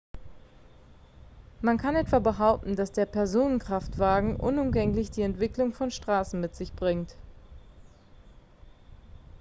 man kann etwa behaupten dass der personenkraftwagen unumgänglich die entwicklung von straßen mit sich bringt